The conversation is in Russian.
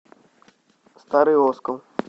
старый оскол